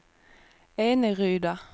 Eneryda